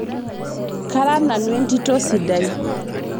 kara nanu entito sidai